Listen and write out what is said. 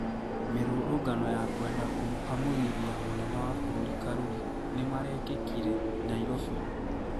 Mĩrũrũngano ya kwenda kũmũhamurithia mũnene wa bũrũri Karuri nĩmarekĩkire Nairobi